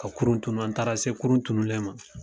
Ka kurun tunun an taara se kurun tununlen ma.